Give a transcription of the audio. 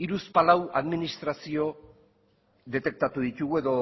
hiruzpalau administrazio detektatu ditugu edo